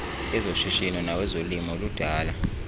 ezoshishino nawezolimo ludala